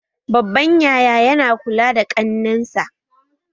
Babban yaya ya na kula da kannensa